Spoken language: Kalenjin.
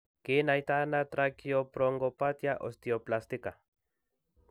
Kinaitano tracheobronchopathia osteoplastica?